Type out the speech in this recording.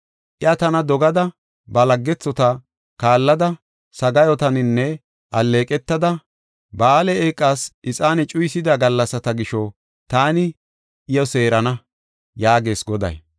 Iya tana dogada ba laggethota kaallada, sagaayotaninne alleeqotan alleeqetada, Ba7aale eeqas ixaane cuyisida gallasata gisho taani iyo seerana; yaagees Goday.